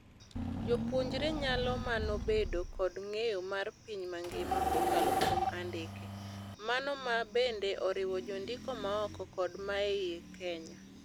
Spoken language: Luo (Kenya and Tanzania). Jopuonjre nyalo mano bedo kod ng'eyo mar piny mangima kokalo kuom andike. Mano ma bende oriwo jondiko maoko kod maei Kenya.